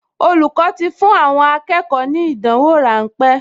Olùkọ́ ti fún àwọn akẹ́kọ̀ọ ní ìdánwò ráńpẹ́